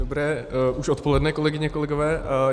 Dobré už odpoledne, kolegyně, kolegové.